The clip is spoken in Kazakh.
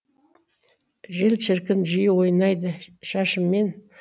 жел шіркін жиі ойнайды шашыммен